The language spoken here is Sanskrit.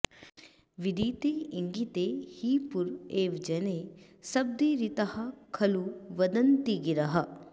विदितेङ्गिते हि पुर एव जने सपदीरिताः खलु लगन्ति गिरः